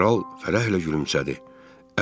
Kral fərəhlə gülümsədi.